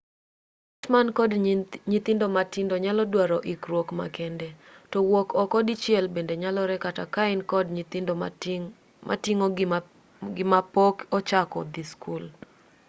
jo-ot man kod nyithindo matindo nyalo dwaro ikruok makende to wuok oko dichiel bende nyalore kata kain kod nyithindo miting'o gi mapok ochako dhii skul